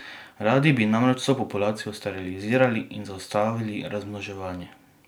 Radi bi namreč vso populacijo sterilizirali in zaustavili razmnoževanje.